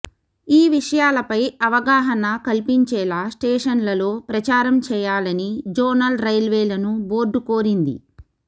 ఈ విషయాలపై అవగాహన కల్పించేలా స్టేషన్లలో ప్రచారం చేయాలని జోనల్ రైల్వేలను బోర్డు కోరింది